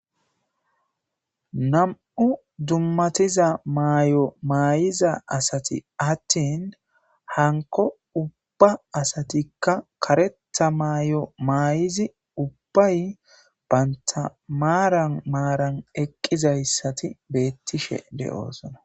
nam7u dummatiza maayo maayiza asati attin hanko ubba asatikka kareta maay7o maayizi ubbay bayntamaaran maaran eqqizayssati beettishe de7oosona